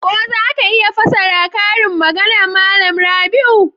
Ko za ka iya fassara karin maganar Malam Rabiu?